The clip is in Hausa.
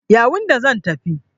Yawunde zan tafi.